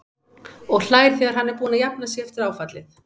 Og hlær þegar hann er búinn að jafna sig eftir áfallið.